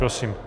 Prosím.